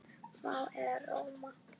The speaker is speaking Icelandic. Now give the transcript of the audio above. Vá, en rómó.